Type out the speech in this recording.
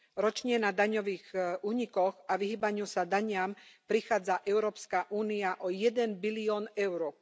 Ročne na daňových únikoch a vyhýbaniu sa daniam prichádza Európska únia o jeden bilión eur.